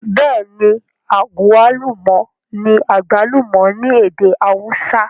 Bêẹ̀ni, agwaluma ní àgbálùmọ̀ ní èdè awúsá